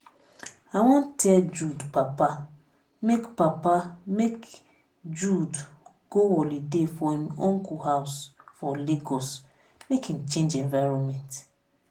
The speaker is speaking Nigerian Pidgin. i wan tell jude papa make papa make jude go holiday for im uncle house for lagos make im change environment